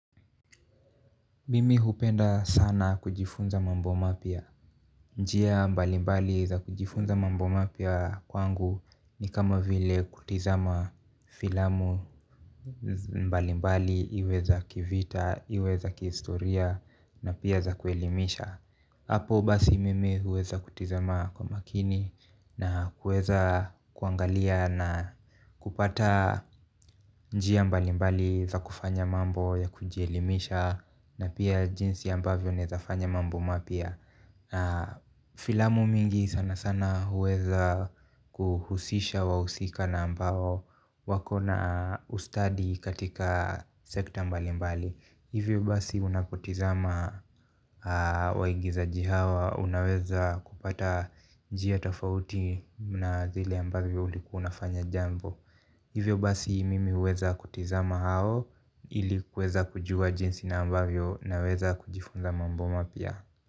Mimi hupenda sana kujifunza mambo mapya njia mbalimbali za kujifunza mambo mapya kwangu ni kama vile kutizama filamu mbalimbali iwe za kivita, iwe za kihistoria na pia za kuelimisha. Apo basi mimi huweza kutizama kwa makini na huweza kuangalia na kupata njia mbali mbali za kufanya mambo ya kujielimisha na pia jinsi ambavyo naeza fanya mambo mapya na filamu mingi sana sana huweza kuhusisha wahusika na ambao wako na ustadi katika sekta mbali mbali hivyo basi unapotizama waigizaji hawa unaweza kupata njia tofauti na vile ambavyo ulikuwa unafanya jambo hivyo basi mimi uweza kutizama hao ili kweza kujua jinsi na ambavyo naweza kujifunza mambo mapya.